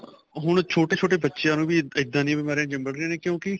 ਤੇ ਹੁਣ ਛੋਟੇ ਛੋਟੇ ਬੱਚਿਆ ਨੂੰ ਵੀ ਇੱਦਾਂ ਦੀਆਂ ਬਿਮਾਰੀਆਂ ਚਿੱਬੜ ਰਹੀਆਂ ਨੇ ਕਿਉਂਕਿ